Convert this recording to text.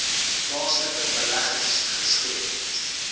plaaslike beleggers skep